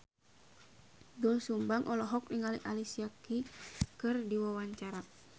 Doel Sumbang olohok ningali Alicia Keys keur diwawancara